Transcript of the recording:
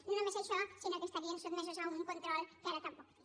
no només això sinó que estarien sotmesos a un control que ara tampoc té